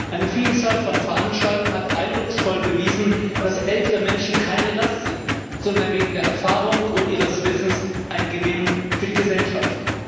Eine Vielzahl von Veranstaltungen hat eindrucksvoll bewiesen, dass ältere Menschen keine Last sind, sondern wegen der Erfahrung und ihres Wissens ein Gewinn für die Gesellschaft.